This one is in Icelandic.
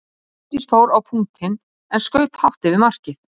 Bryndís fór á punktinn en skaut hátt yfir markið.